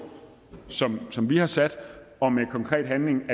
som som vi har sat og med konkret handling